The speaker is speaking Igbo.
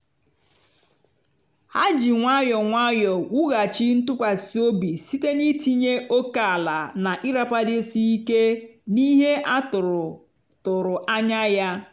ha ji nwayọọ nwayọọ wughachi ntụkwasị obi site n'itinye ókèala na ịrapagidesi ike n'ihe a tụrụ tụrụ anya ya.